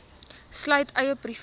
sluit eie privaat